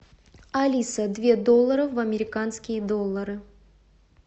алиса две доллары в американские доллары